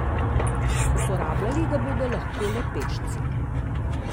Uporabljali ga bodo lahko le pešci.